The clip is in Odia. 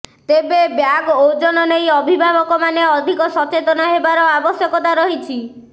ତେବେ ବ୍ୟାଗ୍ ଓଜନ ନେଇ ଅଭିଭାବକମାନେ ଅଧିକ ସଚେତନ ହେବାର ଆବଶ୍ୟକତା ରହିଛି